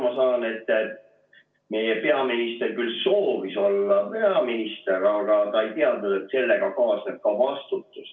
Ma saan aru, et meie peaminister küll soovis olla peaminister, aga ta ei teadnud, et sellega kaasneb ka vastutus.